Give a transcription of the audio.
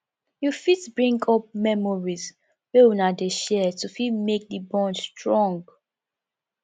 you fit bring up memories wey una dey share to fit make di bond strong